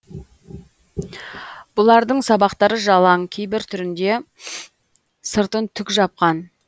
бұлардың сабақтары жалаң кейбір түрінде сыртын түк жапқан